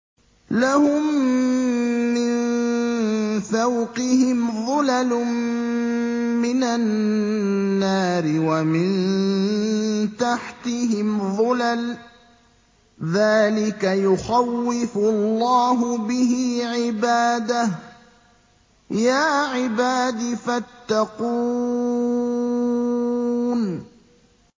لَهُم مِّن فَوْقِهِمْ ظُلَلٌ مِّنَ النَّارِ وَمِن تَحْتِهِمْ ظُلَلٌ ۚ ذَٰلِكَ يُخَوِّفُ اللَّهُ بِهِ عِبَادَهُ ۚ يَا عِبَادِ فَاتَّقُونِ